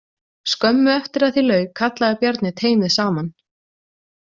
Skömmu eftir að því lauk kallaði Bjarni teymið saman.